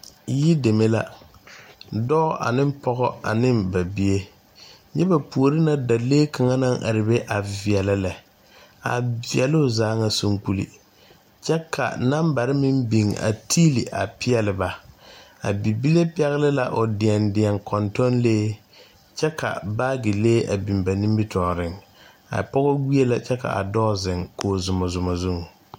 Yideme la, dɔɔ ane pɔge ane ba bie nyɛ ba puoriiŋ dalee kaŋa naŋ are veɛlɛ lɛ a veɛlo zaa nyɛ soŋkpoli kyɛ ka nambare meŋ beŋ a peɛli ba a bibile pɛgli la o deɛdeɛ kɔŋtɔŋlee kyɛ ka baagilee a biŋ ba nimi tɔɔrriŋ a pɔge gbeɛ la kyɛ ka adɔɔ ziŋ koge zomɔmɔ zu.